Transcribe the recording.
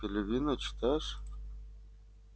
так ты пелевина читаешь